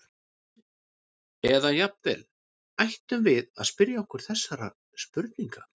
Eða jafnvel: Ættum við að spyrja okkur þessara spurninga?